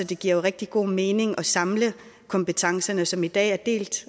det giver jo rigtig god mening at samle kompetencerne som i dag er delt